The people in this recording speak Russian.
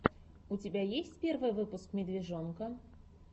у тебя есть первый выпуск медвежонка